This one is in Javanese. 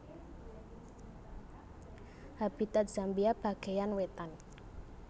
Habitat Zambia bagéyan wétan